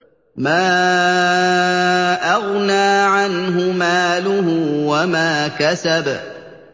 مَا أَغْنَىٰ عَنْهُ مَالُهُ وَمَا كَسَبَ